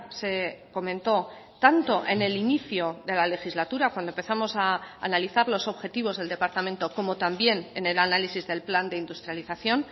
se comentó tanto en el inicio de la legislatura cuando empezamos a analizar los objetivos del departamento como también en el análisis del plan de industrialización